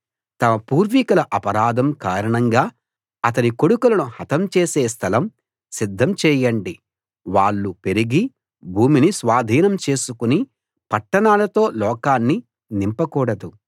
తమ పూర్వీకుల అపరాధం కారణంగా అతని కొడుకులను హతం చేసే స్థలం సిద్ధం చెయ్యండి వాళ్ళు పెరిగి భూమిని స్వాధీనం చేసుకుని పట్టణాలతో లోకాన్ని నింపకూడదు